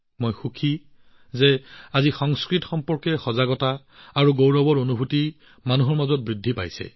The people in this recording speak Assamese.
মই সুখী যে আজি ৰাইজৰ মাজত সংস্কৃতৰ প্ৰতি সচেতনতা আৰু গৌৰৱৰ ভাৱ বাঢ়িছে